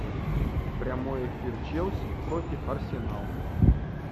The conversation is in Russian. прямой эфир челси против арсенал